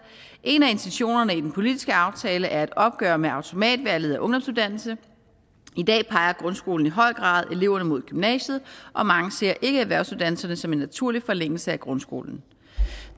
en af intentionerne i den politiske aftale er et opgør med automatvalget af ungdomsuddannelse i dag peger grundskolen i høj grad mod gymnasiet og mange ser ikke erhvervsuddannelserne som en naturlig forlængelse af grundskolen